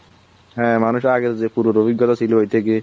হ্যাঁ মানুষের আগের যে পুরোটা অভিজ্ঞতা ওই টা কি